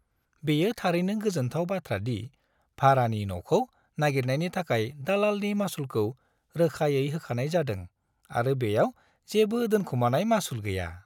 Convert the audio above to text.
बेयो थारैनो गोजोनथाव बाथ्रा दि भारानि न'खौ नागिरनायनि थाखाय दालालनि मासुलखौ रोखायै होखानाय जादों आरो बेयाव जेबो दोनखोमानाय मासुल गैया।